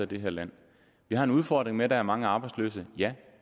det her land vi har en udfordring med at der er mange arbejdsløse ja